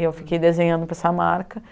E eu fiquei desenhando para essa marca,